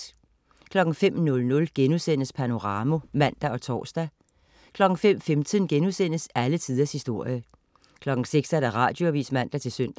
05.00 Panorama* (man og tors) 05.15 Alle tiders historie* 06.00 Radioavis (man-søn)